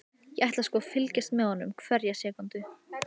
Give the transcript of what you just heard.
Ég ætla sko að fylgjast með honum hverja sekúndu.